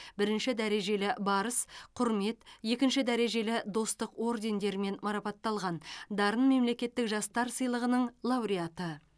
бірінші дәрежелі барыс құрмет екінші дәрежелі достық ордендерімен марапатталған дарын мемлекеттік жастар сыйлығының лауреаты